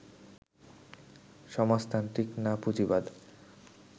সমাজতান্ত্রিক না পুঁজিবাদ